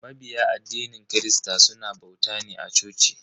Mabiya addinin christa suna bauta ne a coci.